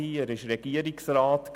er war Regierungsrat;